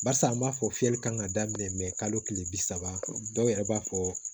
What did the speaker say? Barisa an b'a fɔ fiyɛli kan ka daminɛ mɛ kalo kile bi saba dɔw yɛrɛ b'a fɔ